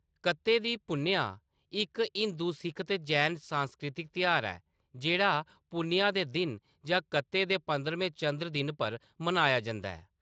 कत्ते दी पुन्नेआ इक हिंदू, सिक्ख ते जैन सांस्कृतिक तेहार ऐ जेह्‌‌ड़ा पुन्नेआ दे दिन जां कत्ते दे पंदरमें चंद्र दिन पर मनाया जंदा ऐ।